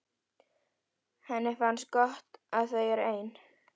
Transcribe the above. Henni finnst gott að þau eru ein.